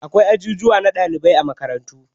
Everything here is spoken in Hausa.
Akwai ajujuwan na ɗalibai a makarantu